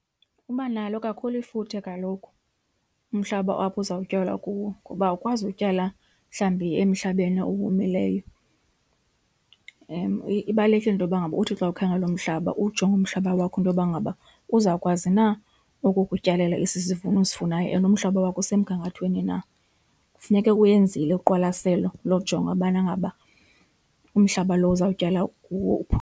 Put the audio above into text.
Uba nalo kakhulu ifuthe kaloku umhlaba apho uzawutyalwa kuwo ngoba awukwazi utyala mhlawumbi emhlabeni owomileyo. Ibalulekile into yoba ngaba uthi xa ukhangela umhlaba ujonge umhlaba wakho intoba ngaba uzawukwazi na ukukutyalela esi sivuno usifunayo and umhlaba wakho usemgangathweni na. Kufuneke uyenzile uqwalaselo lojonga ubana ngaba umhlaba lo uzawutyala kuwo .